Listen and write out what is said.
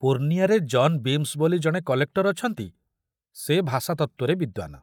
ପୂର୍ଣ୍ଣିଆରେ John Beames ବୋଲି ଜଣେ collector ଅଛନ୍ତି, ସେ ଭାଷାତତ୍ତ୍ୱରେ ବିଦ୍ୱାନ।